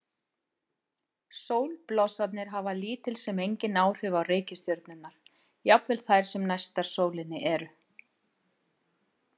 Sólblossarnir hafa lítil sem engin áhrif á reikistjörnurnar, jafnvel þær sem næstar sólinni eru.